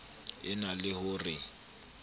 e na le ho re